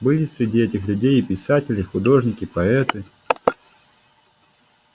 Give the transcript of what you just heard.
были среди этих людей и писатели художники поэты